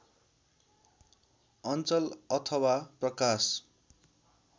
अञ्चल अथवा प्रकाश